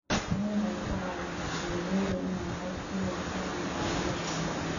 Tani waxay ka caawisaa beeralayda inay cod ku yeeshaan go'aamada beeraha.